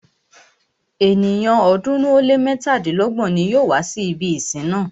Ènìyàn ọ̀ọ́dúnrún ó lé mẹ́tàdínlọ́gbọ̀n ní yóò wá si ibi ìsìn náà.